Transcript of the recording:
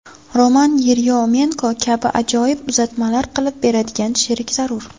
Roman Yeryomenko kabi ajoyib uzatmalar qilib beradigan sherik zarur”.